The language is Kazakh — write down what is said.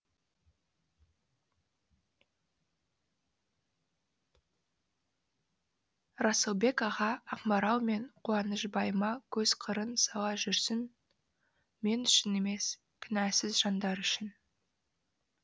расылбек аға ақмарал мен қуанышбайыма көз қырын сала жүрсін мен үшін емес кінәсіз жандар үшін